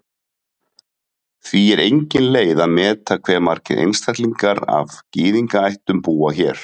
Því er engin leið að meta hve margir einstaklingar af Gyðingaættum búa hér.